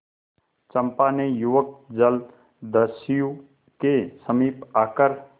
चंपा ने युवक जलदस्यु के समीप आकर